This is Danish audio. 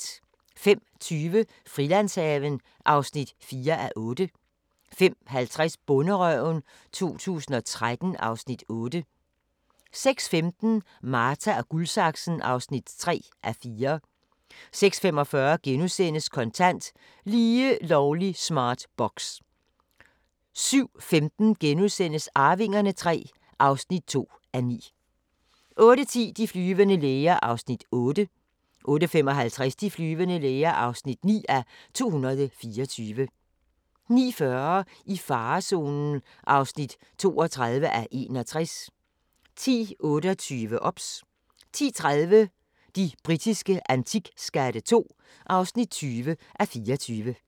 05:20: Frilandshaven (4:8) 05:50: Bonderøven 2013 (Afs. 8) 06:15: Marta & Guldsaksen (3:4) 06:45: Kontant: Lige lovlig smart box * 07:15: Arvingerne III (2:9)* 08:10: De flyvende læger (8:224) 08:55: De flyvende læger (9:224) 09:40: I farezonen (32:61) 10:28: OBS 10:30: De britiske antikskatte II (20:24)